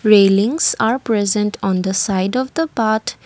railings are present on the side of the path.